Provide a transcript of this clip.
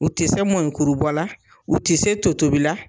U tɛ se mɔnikurubɔ la , u tɛ se to tobi la!